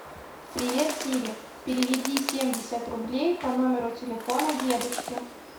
привет сири переведи семьдесят рублей по номеру телефона дедушки